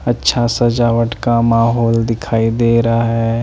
अच्छा सजावट का माहौल दिखाई दे रहा है।